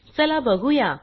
चला बघूया